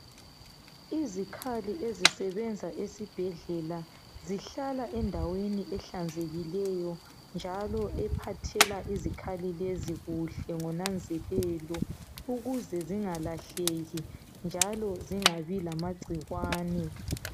Izikhali ezisebenza esibhedlela zihlala endaweni ehlanzekileyo njalo ephathela izikhali lezi kuhle ngonanzelelo ukuze zingalahleki njalo zingabi lamagcikwane.